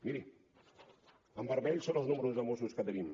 miri en vermell són els números de mossos que tenim